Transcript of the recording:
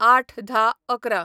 ०८/१०/११